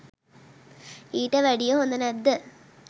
ඊට වැඩිය හොද නැද්ද